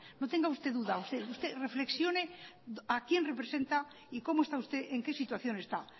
no tenga usted duda usted reflexione a quién representa y cómo está usted en qué situación está